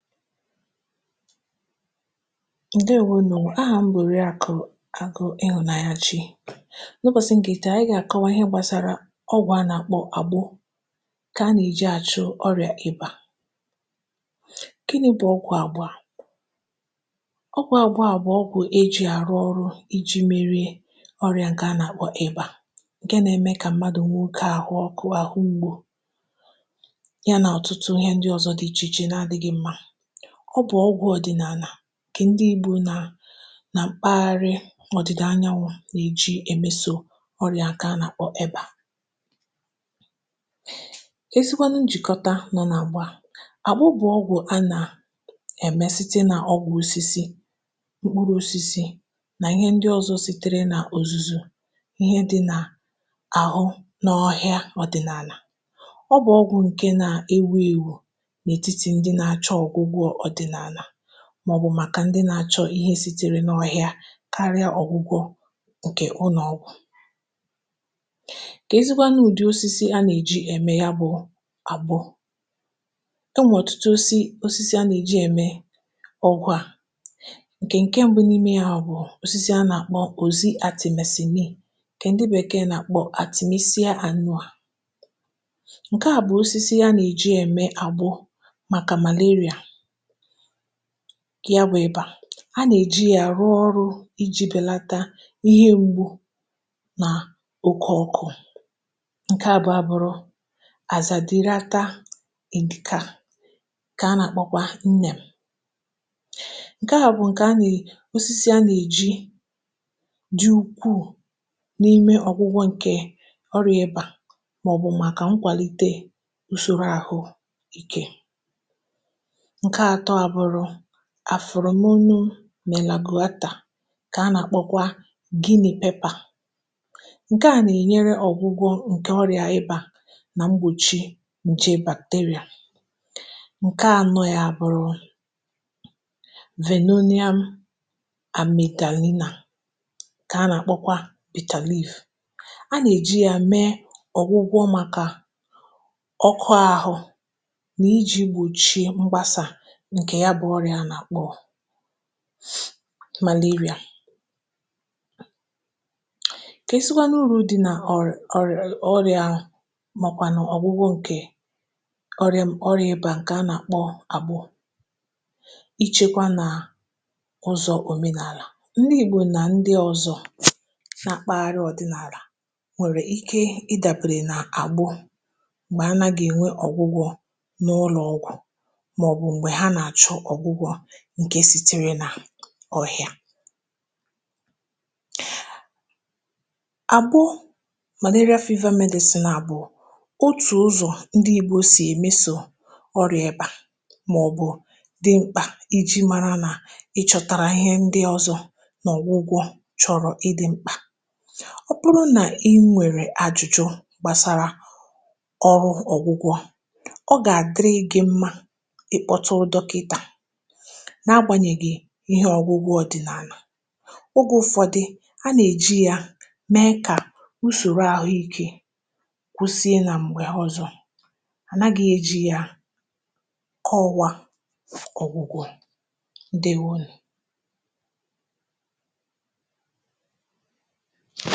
Ǹdeèwònù. Ahà m̀ bòrò ya kà Ụ̀gò Àgụ̇ n’Ịhụ̇nàanyà Chi. N’ụbọ̀sị̀ m gà-èti, ànyị gà-àkọwa ihe gbàsàrà ọgwụ̀ a nà-àkpọ Àgbụ̇, ǹkè a nà-eji àchụ ọ̀rịà ebe a. um Ǹkè nē bụ̀ ọgwụ̀ Àgbụ̇ a. Ọgwụ̀ Àgbụ̇ a bụ̀ ọgwụ̀ eji̇ àrụ̀ ọrụ iji̇ mèrì ọ̀rịà ǹkè a nà-àkpọ Ebà, ǹkè nà-eme kà mmadụ̀ nwoke àhụ̀ ọkụ, àhụ̀ ụ̀gbọ̇. Ọ bụ̀ ọgwụ̀ ọdị̀nààlà, kà ǹdị̀ Ìgbò nà nà mpaghara ọ̀dị̀da anyanwụ̀ nà-eji emèsò ọrịa aka nà-èba. Èsìkwanụ̀ njìkọ̀tà nọ nà àgba àkpọ bụ̀ ọgwụ̀ a nà-èmesítị nà ọgwụ̀ osisi, mkpụrụ osisi, nà ihe ǹdị̀ ọzọ̇ sitere nà òzùzù ihe dị̇ n’àọ n’ọhịà ọdị̀nààlà. Ọ bụ̀ ọgwụ̀ ǹkè nà-ewù èwù n’ètiti ǹdị̀ nà-achọ ọ̀gwụ̀gwụ̀, màọ̀bụ̀ màkà ǹdị̀ nà-achọ ihe sitere n’ọhịa karịa ọ̀gwụgwọ ǹkè ụ. Nà ọgwụ̀ ǹkè ezigbo a, nà ụ̀dị̀ osisi a nà-èji ème ya bụ̀ Àgbụ̇. Ị nwọ̀tụtụ osisi a nà-ème ọ̀gwụ̀ a. um Ǹkè ǹkè mbụ́ n’ime ya bụ̀ osisi a nà-àkpọ Òzi Àtịm Sìm, ǹkè ǹdị̀ Bèkee nà-àkpọ Àtịm. Ìsì ya ànụ̀ a, ǹkè a bụ̀ osisi a nà-èji ème Àgbụ̇, ǹkè ya bụ̀ ebe a nà-eji yà àrụ̀ ọrụ iji̇ bèlàtà ihe ngwù̇ nà oke ọkụ. Ǹkè abụọ̀ bụ̀rụ̀ Àzà Dịrị Aka, ǹkè a nà-akpọkwa Nnẹ̇ M. Ǹkè a bụ̀ ǹkè a nà-osisi a nà-eji dị̀ ukwuù n’ime ọ̀gwụgwọ̇, ǹkè ọrụ ya ebe a, màọ̀bụ̀ màkà nkwàlite ụ̀sọ̀rọ̀ àhụ̀ikẹ̀. Àfụrụ̀ m̀ unu nà èlagohata, kà a nà-àkpọkwa Gíní̇ Pepà. um Ǹkè a nà-ènyere ọ̀gwụgwọ̇ ǹkè ọrịa ịbá nà mgbòchi ǹché bàkteria. Ǹkè a nọ̀ ya bụ̀ Rumenonia Amylina, kà a nà-àkpọkwa Potassium. A nà-èji ya mee ọ̀gwụgwọ̇ màkà ọkụ̀ àhụ̇, nà iji̇ gbòchie mgbasà Maliria ǹkè sì tìrì n’ọhịa. Àbụ̀ màlọ̀ ọrịa Fèèva Medecin, à bụ̀ òtù ụzọ̀ ǹdị̀ ìgbe ò sì emèsò ọrịa ịgbà, màọ̀bụ̀ dị̀ mkpà iji mara nà ị chọ̀tàrà ihe ǹdị̀ ọzọ̇ n’ọgwụgwọ̇. Chọrọ ịdị̀ mkpà ọ̀ bụrụ̀ nà i nwèrè àjụ̀jụ̀ gbàsàrà ọrụ ọgwụgwọ̇, ihe ọgwụ̀ ọdị̀nààlà, ụ̀gwụ̀ ụfọdụ̀ a nà-èji yà mee kà ụ̀sọ̀rọ̀ àhụ̀ikẹ̀ kwụsìe. um Nà m̀gbè ọzọ̇, ànàghị̇ èji yà ọwà ọ̀gwụ̀gwụ̀. Ǹdeèwònù.